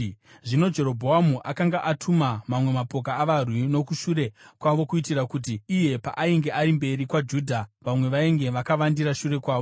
Zvino Jerobhoamu akanga atuma mamwe mapoka avarwi nokushure kwavo kuitira kuti iye paainge ari mberi kwaJudha vamwe vainge vakavandira shure kwavo.